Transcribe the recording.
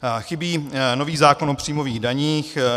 Chybí nový zákon o příjmových daních.